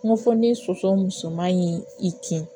Kungo fɔ ni soso musoman in i kin